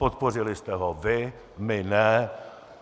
Podpořili jste ho vy, my ne.